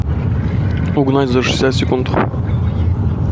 угнать за шестьдесят секунд